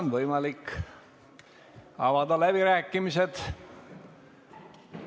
On võimalik avada läbirääkimised.